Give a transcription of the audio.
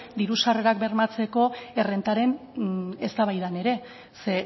diru sarrerak bermatzeko errentaren eztabaidan ere ze